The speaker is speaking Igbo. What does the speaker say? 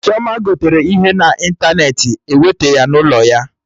Chioma gotere ihe na ịntanetị, ewete ya n'ụlọ ya